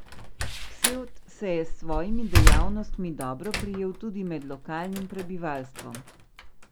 Ksevt se je s svojimi dejavnostmi dobro prijel tudi med lokalnim prebivalstvom.